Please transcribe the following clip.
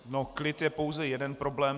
No klid je pouze jeden problém.